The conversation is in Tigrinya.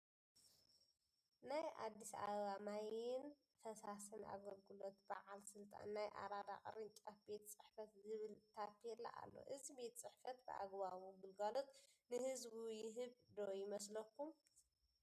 ናይ ኣዲስ ኣበባ ማይ ይን ፈሳስን ኣገልግለት ባዓል ስልጣን ናይ ኣረዳ ቅርጫፍ ቤት ፅሕፈት ዝብል ታቤላ ኣሎ ። እዚ ቤት ፅሕፈት ብኣግባቡ ግልጋሎት ንህቡ ይህብ ዶ ይመስለኩም ?